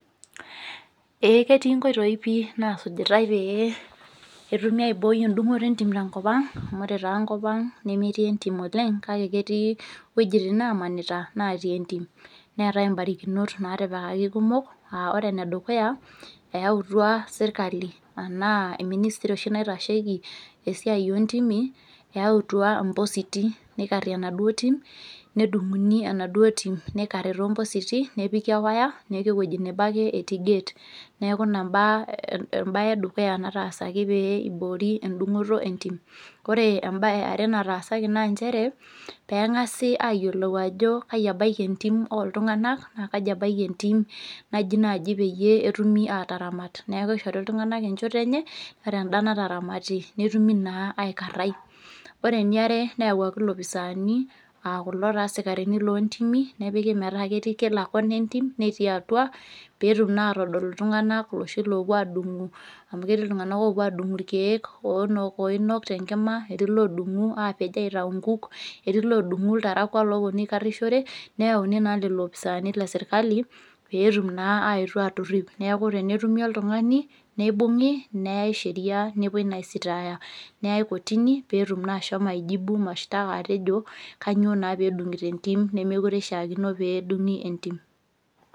Ee ketii nkoitoi pi nasujitai pee etumi aiboi edung'oto entim tenkop ang, amu ore taa enkop ang nemetii entim oleng, kake ketii wuejiting nemanita, natii entim. Neetae ibarakinot natipikaki kumok, ah ore enedukuya eyautua serkali enaa ministry naitasheki esiai ontimi, eautua impositi nikarrie enaduo tim, nedung'uni enaduo tim nikarri tompositi nepiki ewaya, neeku ewueji nebo ake etii gate. Neeku ina baa ebae edukuya nataasaki pee iboori edung'oto entim. Ore eare nataasaki naa njere, peng'asi ayiolou ajo kai ebaiki entim oltung'anak, na kaji ebaiki entim naji naaji peyie etumi ataramat. Neeku kishori iltung'anak enchoto enye, ore enda nataramati netumi naa aikarrai. Ore eniare neyauaki ilopisaani akulo taa sikarini lontimi, nepiki metaa ketii kila kona entim, netii atua, petum naa atodol iltung'anak loshi lopuo adung'u amu ketii iltung'anak lopuo adung'u irkeek, oinok tenkima, etii lodung'u apej aitayu nkuk, etii lodung'u iltarakwa loponu aikarrishore, neyauni naa lelo opisaani lesirkali, petum naa aetuo atorrip. Neeku tenetumi oltung'ani, neibung'i, neyai sheria nepoi naa aisitaaya. Neyai kotini petum naa ashomo ai jibu mashtaka atejo, kanyioo naa pedung'ito entim nemekure ishaakino pedung'i entim.